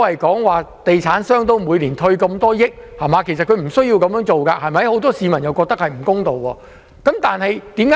地產商每年退稅數億元，其實政府無須這樣做，很多市民都覺得這做法不公平。